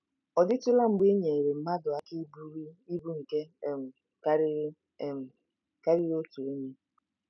Ọ dịtụla mgbe ị nyeere mmadụ aka iburu ibu nke um karịrị um karịrị otu onye?